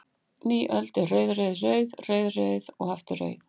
Ný öld er rauð, rauð, rauð, rauð, rauð og aftur rauð?